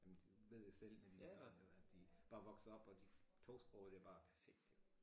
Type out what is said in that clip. Jamen det ved jeg selv med mine børn jo at de bare vokser op og de tosprogede det bare perfekt jo